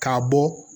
K'a bɔ